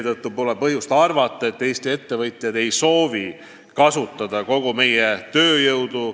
Nii pole põhjust arvata, et Eesti ettevõtjad ei soovi kasutada kogu meie tööjõudu.